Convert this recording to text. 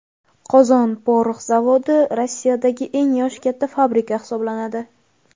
Qozon porox zavodi Rossiyadagi eng yoshi katta fabrika hisoblanadi.